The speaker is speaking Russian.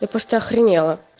я просто охренела